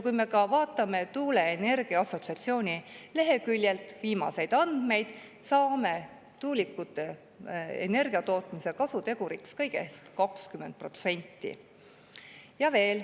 Kui me vaatame tuuleenergia assotsiatsiooni leheküljelt viimaseid andmeid, saame tuulikutega energia tootmise kasuteguriks kõigest 20%.